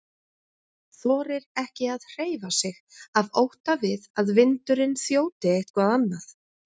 Þorir ekki að hreyfa sig af ótta við að vindurinn þjóti eitthvað annað.